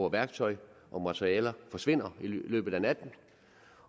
at værktøj og materialer forsvinder fra i løbet af natten